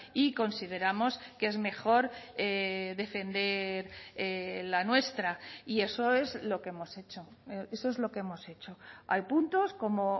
y consideramos que es mejor defender la nuestra y eso es lo que hemos hecho eso es lo que hemos hecho hay puntos como